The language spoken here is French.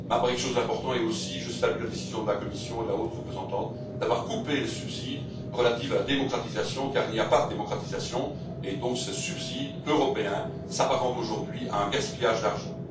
Je salue aussi la décision de la Commission et de la haute représentante de couper les subsides relatifs à la démocratisation, car il n'y a pas de démocratisation et donc ces subsides européens s'apparentent aujourd'hui à un gaspillage d'argent.